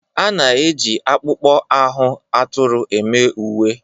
A na-eji akpụkpọ ahụ atụrụ eme uwe.